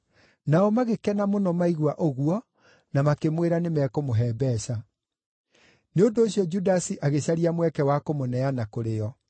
Nao magĩkena mũno maigua ũguo na makĩmwĩra nĩmekũmũhe mbeeca. Nĩ ũndũ ũcio Judasi agĩcaria mweke wa kũmũneana kũrĩ o.